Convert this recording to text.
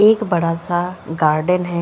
एक बड़ा-सा गार्डन है।